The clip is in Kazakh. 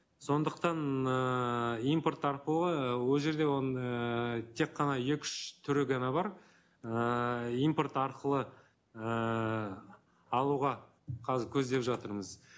сондықтан ыыы импорт арқылы ол жерде оның ііі тек қана екі үш түрі ғана бар ыыы импорт арқылы ііі алуға қазір көздеп жатырмыз